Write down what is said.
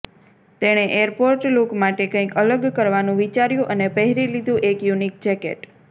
તેણે airport look માટે કંઈક અલગ કરવાનું વિચાર્યું અને પહેરી લીધું એક યૂનીક જેકેટ